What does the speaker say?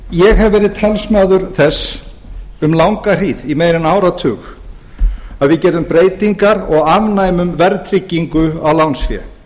hef verið talsmaður þess um langa hríð í meira en áratug að við gerum breytingar og afnemum verðtryggingu á lánsfé